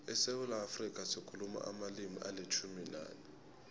esewula afrika sikhuluma amalimi alitjhumi nanye